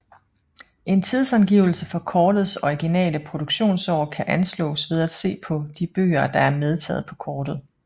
En tidsangivelse for kortets originale produktionsår kan anslås ved at se på de byer der er medtaget på kortet